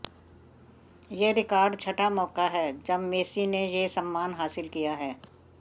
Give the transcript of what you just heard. ये रिकॉर्ड छठा मौका है जब मेसी ने ये सम्मान हासिल किया है